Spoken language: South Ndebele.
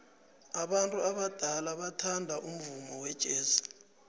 abantu abadala bathanda umvumo wejazz